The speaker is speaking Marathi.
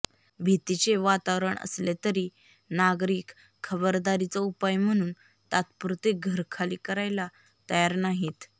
भीतीचे वातावरण असले तरी नागरिक खबदारीचा उपाय म्हणून तात्पुरते घर खाली करायला तयार नाहीत